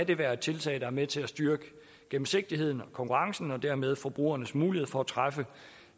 det være et tiltag der er med til at styrke gennemsigtigheden konkurrencen og dermed forbrugernes mulighed for at træffe